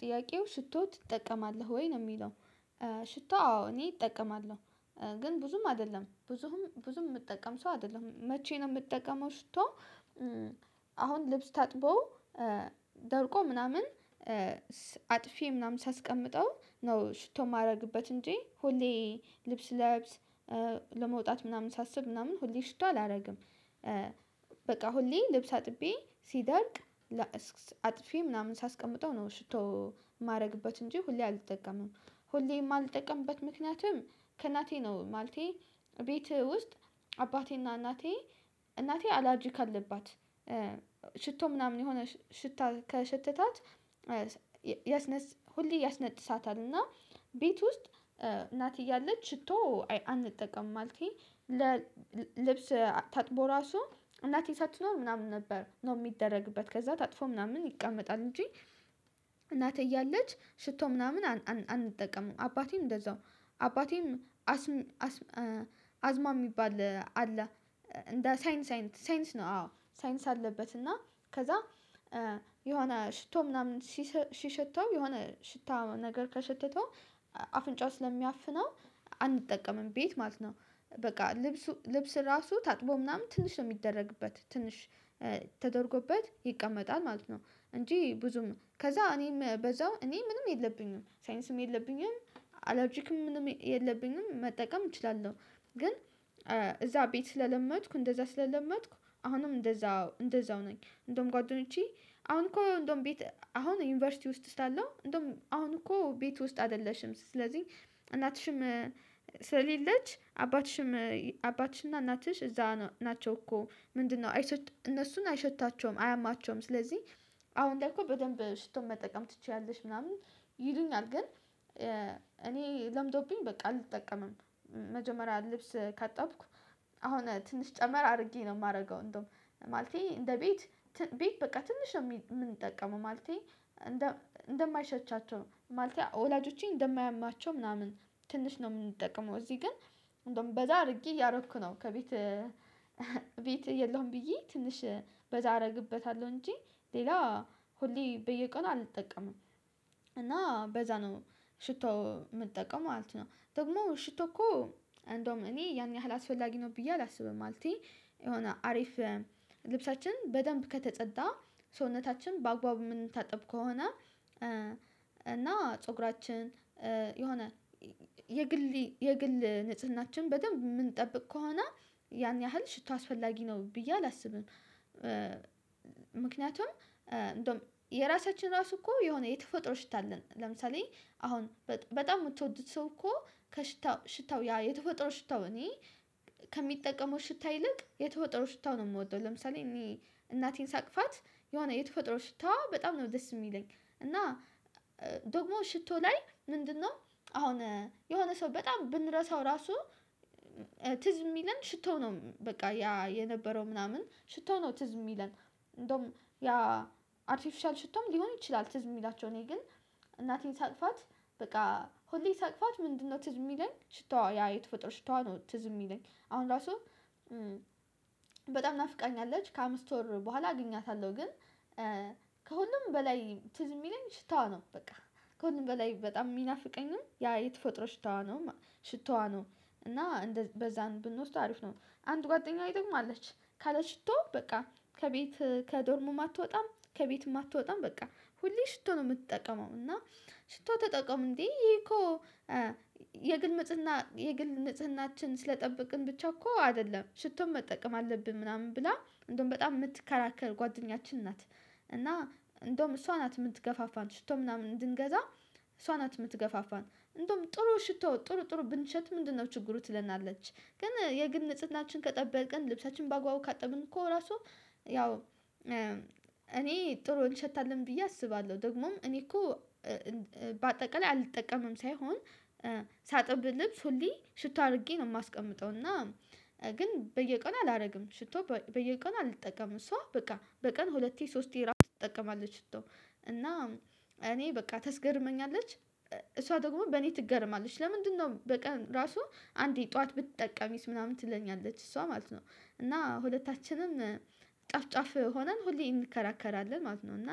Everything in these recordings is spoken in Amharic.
ጥያቄው ሽቶ ትጠቀማለህ ወይ ነው የሚለው? ሽቶ አዎ እኔ እጠቀማለሁ። ግን ብዙም አይደለም ብዙም ብዙም የምጠቀም ሰው አይደለሁም መቼ ነው የምጠቀመው ሽቶ። አሁን ልብስ ታጥቦ ደርቆ ምናምን አጥፌ ምናምን ሳስቀምጠው ነው ሽቶ የማደርግበት እንጂ ሁሌ ልብስ ስለብስ ለመውጣት ምናምን ሳስብ ምናምን ሁሌ ሽቶ አላደርግም። በቃ ሁሌ ልብስ አጥቤ ሲደርቅ አጥፌ ምናምን ሳስቀምጠው ነው ሽቶ ማደረግበት እንጂ ሁሌ አልጠቀምም። ሁሌም ማልጠቀምበት ምክንያትም ከእናቴ ነው ማለቴ ቤትህ ውስጥ አባቴና እናቴ እናቴ አላርጅክ አለባት ሽቶ ምናምን የሆነ ሽታ ከሸተታት። ያስነጥሳታል እና ቤት ውስጥ እናቴ እያለች ሽቶ አንጠቀምም ማለቴ። ልብስ ታጥቦ ራሱ እናቴ ሳትኖር ምናምን ነበር ነው የሚደረግበት ከዛ ታጥፎ ምናምን ይቀመጣል እንጂ። እናቴ እያለች ሽቶ ምናምን አንጠቀምም አባቴም እንደዛው አባቴም አስም አስማ የሚባል አለ እንደ ሳይነስ አይነት ሳይነስ ነው አዎ ሳይንስ አለበት። እና ከዛ የሆነ ሽቶ ምናምን ሲሸተው የሆነ ሽታ ነገር ከሸተተው አፍንጫው ስለሚያፍነው አንጠቀምም ቤት ማለት ነው። በቃ ልብሱ ልብስ ልብስ ራሱ ታጥቦ ምናምን ትንሽ ነው የሚደረግበት ትንሽ ተደርጎበት ይቀመጣል ማለት ነው። እንጂ ብዙም ከዛ እኔም በዛው እኔ ምንም የለብኝም ሳይነስም የለብኝም አለርጅክም ምንም የለብኝም መጠቀም እችላለሁ። ግን እዛ ቤት ስለለመድኩ እንደዛ ስለለመድኩ አሁንም እንደዛ እንደዛው ነኝ። እንደውም ጓደኞቼ አሁን እኮ እንደውም ቤት አሁን ዩኒቨርሲቲ ውስጥ ስላለው እንደውም አሁን እኮ ቤት ውስጥ አይደለሽም ስለዚህ እናትሽም ስለሌለች አባትሽም አባትሽና እናትሽ እዛ ናቸው እኮ ምንድነው እነሱን አይሸታቸውም አያማቸውም ስለዚህ አሁን ላይ እኮ በደንብ ሽቶ መጠቀም ትችያለሽ ምናምን ይሉኛል ግን እኔ ለምዶብኝ በቃ አልጠቀምም። መጀመሪያ ልብስ ካጠብኩ አሁን ትንሽ ጨመር አድርጌ ነው የማደርገው እንደውም ማለቴ እንደ ቤት ቤት በቃ ትንሽ ነው የምንጠቀመው ማለቴ እንደ እንደማይሸታቸው ማለቴ ወላጆቼን እንደማያማቸው ምናምን ትንሽ ነው የምንጠቀመው እዚህ ግን እንደውም በዛ አድርጌ እያደረግኩ ነው ከቤት ቤት የለሁም ብዬ ትንሽ በዛ አደርግበታለሁ እንጂ ሌላ ሁሌ በየቀኑ አልጠቀምም። እና በዛ ነው ሽቶ የምትጠቀመው ማለት ነው ደግሞ ሽቶ እኮ እንደውም እኔ ያን ያህል አስፈላጊ ነው ብዬ አላስብም ማለቴ የሆነ አሪፍ ልብሳችን በደንብ ከተጸዳ ሰውነታችን በአግባቡ የምንታጠብ ከሆነ እና ፀጉራችን የሆነ የግል የግል ንጽህናችን በደንብ የምንጠብቅ ከሆነ ያን ያህል ሽቶ አስፈላጊ ነው ብዬ አላስብም። ምክንያቱም እንደውም የራሳችን ራሱ እኮ የሆነ የተፈጥሮ ሽታ አለን ለምሳሌ አሁን በጣም የምትወዱት ሰው እኮ ከሽታው ሽታው ያ የተፈጠረ ሽታው እኔ ከሚጠቀመው ሽታ ይልቅ የተፈጠሮ ሽታው ነው የምወደው። ለምሳሌ እኔ እናቴን ሳቅፋት የሆነ የተፈጥሮ ሽታዋ በጣም ነው ደስ የሚለኝ እና ደግሞ ሽቶ ላይ ምንድነው አሁን የሆነ ሰው በጣም ብንረሳው ራሱ ትዝ የሚለን ሽቶ ነው በቃ ያ የነበረው ምናምን ሽቶ ነው ትዝ የሚለን። እንደውም ያ አርቲፊሻል ሽቶም ሊሆን ይችላል። ትዝ የሚላቸው እኔ ግን እናቴን ሳቅፋት በቃ ሁሌ ሳቅፋት ምንድነው ትዝ የሚለኝ ሽታዋ ያ የተፈጥረ ሽታዋ ነው። ትዝ የሚለኝ አሁን ራሱ በጣም ናፍቃኛለች ከአምስት ወር በኋላ አገኛታለሁ ግን ከሁሉም በላይ ትዝ የሚለኝ ሽታዋ ነው በቃ ከሁሉም በላይ በጣም የሚናፍቀኝም ያ የተፈጥሮ ሽታዋ ነው። ሽታዋ ነው እና በዛ ብንወስደው አሪፍ ነው። አንድ ጓደኛዬ ደግሞ አለች ካለ ሽቶ በቃ ከቤት ከዶርምም አትወጣም ከቤት አትወጣም በቃ ሁሌ ሽቶ ነው የምትጠቀመው እና ሽቶ ተጠቀሙ እንዴ? ይሄ እኮ የግል ንጽህና የግል ንጽህናችን ስለጠበቅን ብቻ እኮ አይደለም ሽቶም መጠቀም አለብን ምናምን ብላ እንደውም በጣም የምትከራከር ጓደኛችን ናት። እና እንደውም እሷ ናት የምትገፋፋን ሽቶ ምናምን እንድንገዛ እሷ ናት የምትገፋፋን እንደውም ጥሩ ሽቶ ጥሩ ጥሩ ብንሸጥ ምንድነው ችግሩ ትለናለች። ግን የግል ንጽህናችን ከጠበቅን ልብሳችንን በአግባቡ ከጠበቅን እኮ ራሱ ያው እኔ ጥሩ እንሸታለሁ ብዬ አስባለሁ ደግሞም እኔ እኮ በአጠቃላይ አልጠቀምም ሳይሆን ሳጥብ ልብስ ሁሌ ሽቶ አድርጌ ነው የማስቀምጠው እና ግን በየቀኑ አላደርግም። ሽቶ በየቀኑ አልጠቀምም እሷ በቃ በቀን ሁለቴ ሶስቴ ራሱ ትጠቀማለች። ሽቶ እና እኔ በቃ ተስገርመኛለች እሷ ደግሞ በኔ ትገረማለች ለምንድነው በቀን ራሱ አንዴ ጠዋት ብትጠቀሚስ ምናምን ትለኛለች እሷ ማለት ነው። እና ሁለታችንም ጫፍ ጫፍ ሆነን ሁሌ እንከራከራለን ማለት ነው። እና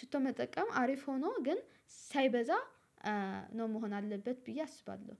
ሽቶ መጠቀም አሪፍ ሆኖ ግን ሳይበዛ ነው መሆን አለበት ብዬ አስባለሁ